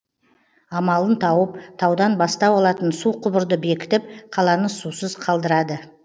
амалын тауып таудан бастау алатын су құбырды бекітіп қаланы сусыз қалдырады